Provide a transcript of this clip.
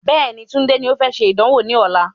Bẹ́ẹ̀ni, Tunde ni o fẹ́ ṣe ìdánwò ní ọ̀la